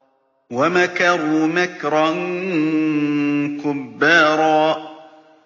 وَمَكَرُوا مَكْرًا كُبَّارًا